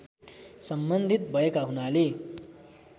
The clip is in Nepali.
सम्बन्धित भएका हुनाले